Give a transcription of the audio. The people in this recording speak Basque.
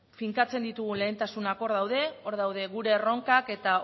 finkatzen ditugun lehentasunak hor daude hor daude gure erronkak eta